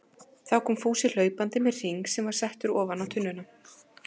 Þá kom Fúsi hlaupandi með hring sem var settur ofan á tunnuna.